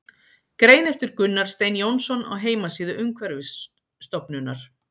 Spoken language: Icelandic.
Grein eftir Gunnar Stein Jónsson á heimasíðu Umhverfisstofnunar.